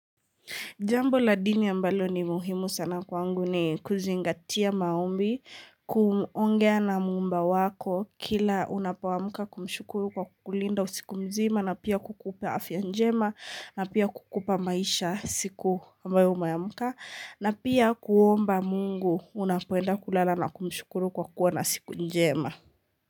Jambo la dini ambalo ni muhimu sana kwangu ni kuzingatia maombi, kuongea na muumba wako kila unapoamka kumshukuru kwa kukulinda usiku mzima na pia kukupa afya njema na pia kukupa maisha siku ambayo umeamka, na pia kuomba Mungu unapoenda kulala na kumshukuru kwa kuwa na siku njema.